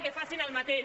que facin el mateix